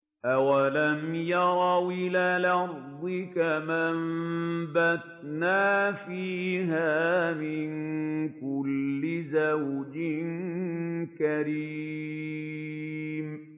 أَوَلَمْ يَرَوْا إِلَى الْأَرْضِ كَمْ أَنبَتْنَا فِيهَا مِن كُلِّ زَوْجٍ كَرِيمٍ